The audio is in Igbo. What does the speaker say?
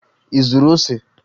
Ị zụrụ ose?